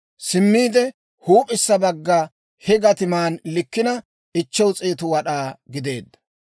Simmiide huup'issa bagga he gatiman likkina 500 wad'aa gideedda.